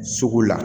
Sugu la